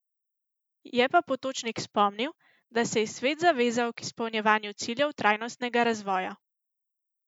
Je pa Potočnik spomnil, da se je svet zavezal k izpolnjevanju ciljev trajnostnega razvoja.